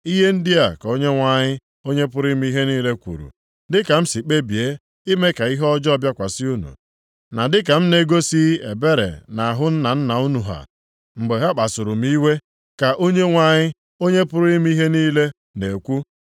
Ihe ndị a ka Onyenwe anyị, Onye pụrụ ime ihe niile kwuru, “Dịka m si kpebie ime ka ihe ọjọọ bịakwasị unu, na dịka m na-egosighị ebere nʼahụ nna nna unu ha mgbe ha kpasuru m iwe,” ka Onyenwe anyị, Onye pụrụ ime ihe niile na-ekwu,